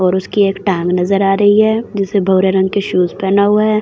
और उसकी एक टांग नजर आ रही है जिसे भूरे रंग के शूज पहना हुआ है।